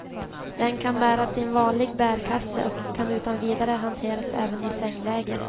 Den kan bäras i en vanlig bärkasse och kan utan vidare hanteras även i sängläge.